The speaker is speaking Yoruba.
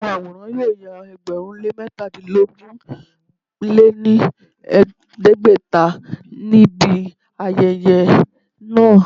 Àwọn àwòrán yóò ya ẹgbẹ̀rún lé métadínogún lé ní ẹgbẹ́ta ní ibi ayẹyẹ náà